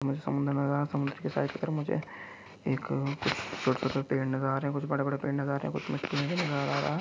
हमें समुन्द्र नजर आ रहा हैं समुन्द्र के साईड कि तरफ़ मुझे एक कुछ छोटे छोटे नजर आ रहे हैं कुछ बड़े बड़े पेड़ नजर आ रहे कुछ मिट्टियाँ भी नजर आ रहा है।